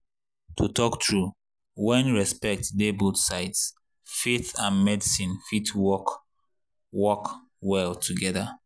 to talk true when respect dey both sides faith and medicine fit work work well together.